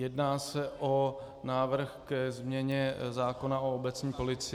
Jedná se o návrh ke změně zákona o obecní policii.